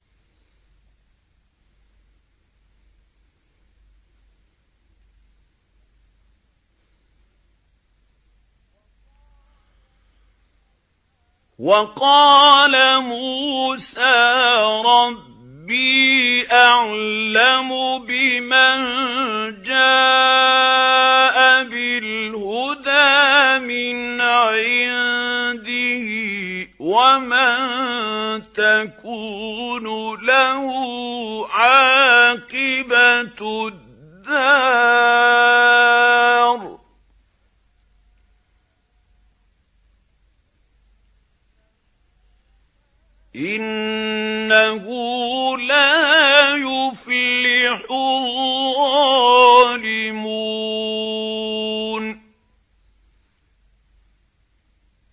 وَقَالَ مُوسَىٰ رَبِّي أَعْلَمُ بِمَن جَاءَ بِالْهُدَىٰ مِنْ عِندِهِ وَمَن تَكُونُ لَهُ عَاقِبَةُ الدَّارِ ۖ إِنَّهُ لَا يُفْلِحُ الظَّالِمُونَ